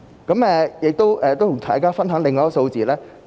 我也想與大家分享一些數字。